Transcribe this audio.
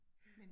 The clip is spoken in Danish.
Ja